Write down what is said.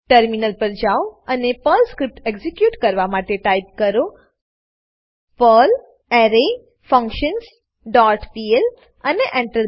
terminal પર જાઓ અને પર્લ સ્ક્રીપ્ટ એક્ઝીક્યુટ કરવા માટે ટાઈપ કરો પર્લ એરેફંક્શન્સ ડોટ પીએલ અને Enter